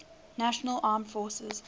national armed forces